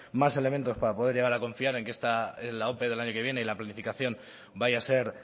más elementos para poder llegar a confiar en que la ope del año que viene y en la planificación vaya a ser